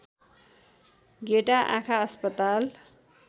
गेटा आँखा अस्पताल